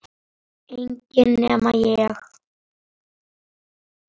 Reisnin var það, heillin